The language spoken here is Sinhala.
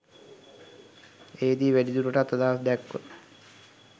එහිදී වැඩිදුරටත් අදහස් දැක්ව